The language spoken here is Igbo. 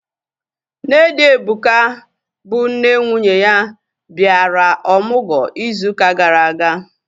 Nne di Ebuka, bụ nne nwunye ya, bịara ọmụgwọ ịzụ ụka gara aga